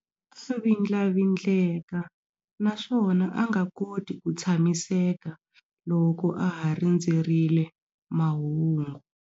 A vindlavindleka naswona a nga koti ku tshamiseka loko a ha rindzerile mahungu.